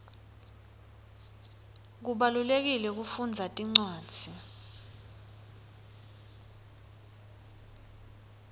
kubalulekile kufundza tincwadzi